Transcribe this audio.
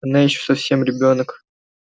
она ещё совсем ребёнок